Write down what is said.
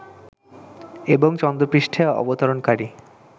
এবং চন্দ্র পৃষ্টে অবতরণকারী